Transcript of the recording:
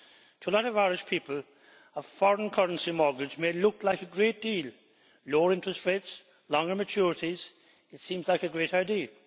To a lot of Irish people, a foreign currency mortgage may look like a great deal. Lower interest rates, longer maturities it seems like a great idea.